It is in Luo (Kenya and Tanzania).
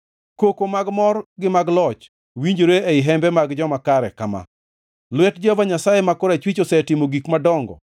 Koko mag mor gi mag loch winjore ei hembe mag joma kare kama: “Lwet Jehova Nyasaye ma korachwich osetimo gik madongo!